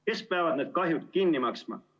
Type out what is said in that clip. Kes peavad need kahjud kinni maksma?